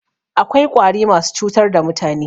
Akwai Ƙwari masu cutar da mutane